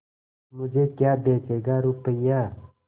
मुझे क्या बेचेगा रुपय्या